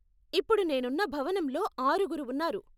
ఇప్పుడు నేనున్న భవనంలో ఆరుగురు ఉన్నారు.